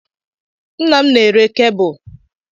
Nnam na-ere kebụl.